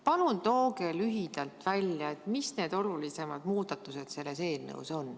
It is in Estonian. Palun tooge lühidalt välja, mis need olulisemad muudatused selles eelnõus on.